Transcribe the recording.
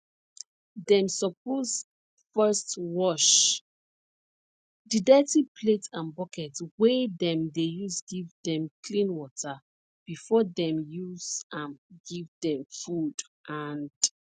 dem suppose first wash the dirty plate and bucket wey dem dey use give them clean water before dem use am give dem food and